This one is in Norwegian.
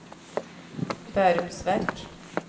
Bærums Verk